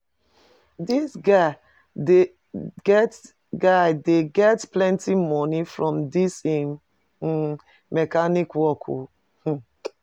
Di guy dey get guy dey get plenty moni from dis im mechanic work o hmmm